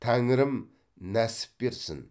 тәңірім нәсіп берсін